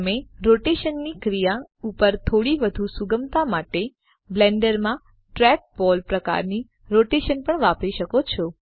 તમે રોટેશનની ક્રિયા ઉપર થોડી વધુ સુગમતા માટે બ્લેન્ડર માં ટ્રેકબોલ પ્રકારની રોટેશન પણ વાપરી શકો છો